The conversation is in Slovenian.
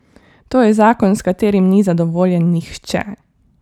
To je zakon, s katerim ni zadovoljen nihče.